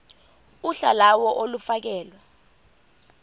uhla lawo olufakelwe